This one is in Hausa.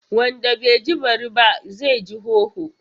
Wanda bai ji bari ba, zai ji hoho.